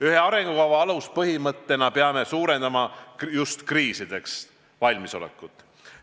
Ühe arengukava aluspõhimõttena peame suurendama just kriisideks valmisolekut.